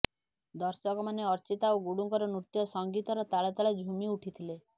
ଦର୍ଶକମାନେ ଅର୍ଚ୍ଚିତା ଓ ଗୁଡୁଙ୍କର ନୃତ୍ୟ ସଙ୍ଗୀତର ତାଳେ ତାଳେ ଝୁମି ଉଠିଥିଲେ